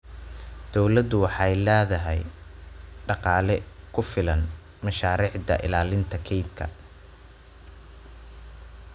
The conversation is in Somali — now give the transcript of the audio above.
Dawladdu waxay la'dahay dhaqaale ku filan mashaariicda ilaalinta kaynta.